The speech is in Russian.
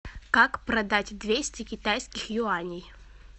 как продать двести китайских юаней